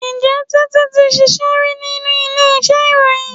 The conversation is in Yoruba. Ǹjẹ́ Títí ti ṣíṣe rí nínú ilé iṣẹ́ ìròyìn?